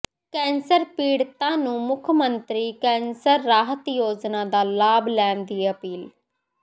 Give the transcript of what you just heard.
cancer ਪੀੜਤਾਂ ਨੂੰ ਮੁੱਖ ਮੰਤਰੀ ਕੈਂਸਰ ਰਾਹਤ ਯੋਜਨਾ ਦਾ ਲਾਭ ਲੈਣ ਦੀ ਅਪੀਲ